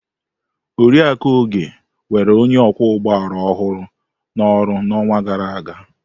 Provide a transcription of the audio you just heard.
Oriakụ Oge were onye ọkwọ ụgbọala ọhụrụ na oru n'ọnwa gara aga.